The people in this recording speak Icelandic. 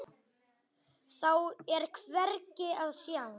Þá er hvergi að sjá.